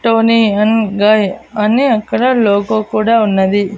Tony and guy అని అక్కడ logo కూడా ఉన్నది.